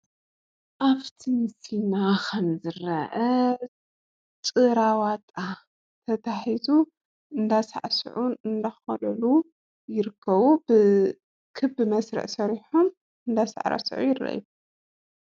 ኣብ ትምህርትና ኸምዝርአ ጭራዋጣ ተታሒዙ እንዳሳዕስዑን እንዳዃደዱን ይርከቡ፡፡ ብክቢ መስርዕ ሰሪሖም እንዳሳዕስዑ ይርአዩ፡፡